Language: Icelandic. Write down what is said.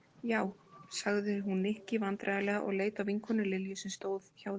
Já, hún sagði Nikki vandræðalega og leit á vinkonu Lilju sem stóð hjá þeim.